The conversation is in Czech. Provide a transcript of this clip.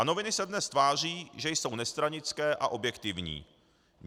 A noviny se dnes tváří, že jsou nestranické a objektivní.